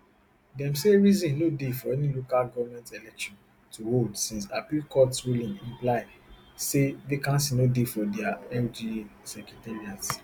dem say reason no dey for any local goment election to hold since appeal court ruling imply say vacancy no dey for di lga secretariats